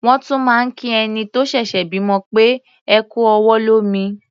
Wọ́n tún máa ń kí ẹni tó ṣẹ̀ṣẹ̀ bímọ pé "ẹ kú ọwọ́ lómi".